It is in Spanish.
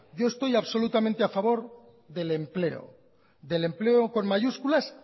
yo estoy absolutamente a favor del empleo del empleo con mayúsculas